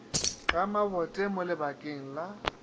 ga mabothe mo lebakeng la